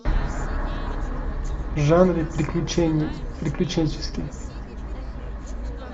в жанре приключенческий